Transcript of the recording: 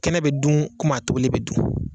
Kɛnɛ bɛ dun kumi a tobilen bɛ dun!